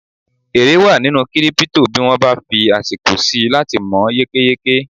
èrè wa nínú kírípítò bí wọ́n bá fí àsìkò síi láti mọ̀ yékéyéké